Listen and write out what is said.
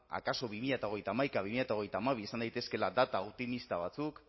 akaso bi mila hogeita hamaika bi mila hogeita hamabi izan daitezkeela data optimista batzuk